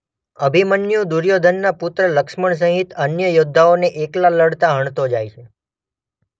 અભિમન્યુ દુર્યોધનના પુત્ર લક્ષ્મણ સહિત અન્ય યોદ્ધાઓને એક્લાં લડતા હણતો જાય છે.